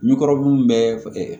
Ni kɔrɔbun bɛ fɛkɛ